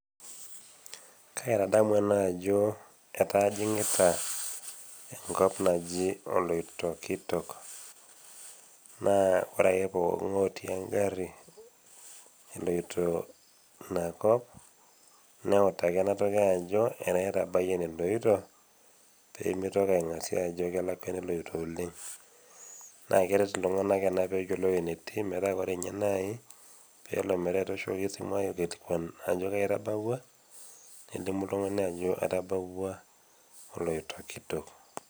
Kaitadamu ena ajo etaa ajing'ita enkop naji oloitokitok. Naa ore ake pooki ngai otii engari pee eyiolou ajo etaa etabaiye eneloito pee meitoki aingasia ajo kelakua eneloito oleng'. Naa keret iltung'ana ena pee eyiolou ewueji netii metaa ore naaji pelo metaa etooshokoki esimu aikilikwanishore ajo kaji itabauwa, nelimu oltung'ani ajo atabauwua oloitokitok.